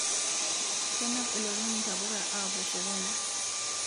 Kenap ilorin ntapuka apuo sokoni